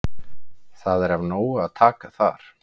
Það er af nógu að taka þar.